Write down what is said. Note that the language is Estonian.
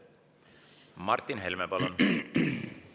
Martin Helme, palun!